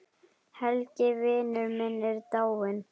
Helgi vinur minn er dáinn.